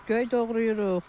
Göy doğrayırıq.